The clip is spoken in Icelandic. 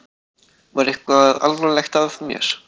Var eitthvað alvarlegt að mér?